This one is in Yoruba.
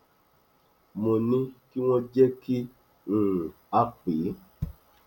mo ní kí wọn jẹ kí um a pè é